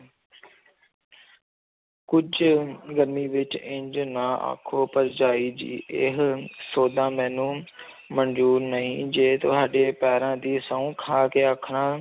ਕੁੱਝ ਗਰਮੀ ਵਿੱਚ ਇੰਞ ਨਾ ਆਖੋ ਭਰਜਾਈ ਜੀ ਇਹ ਸੋਦਾ ਮੈਨੂੰ ਮੰਨਜ਼ੂਰ ਨਹੀਂ ਜੇ ਤੁਹਾਡੇ ਪੈਰਾਂ ਦੀ ਸਹੁੰ ਖਾ ਕੇ ਆਖਣਾ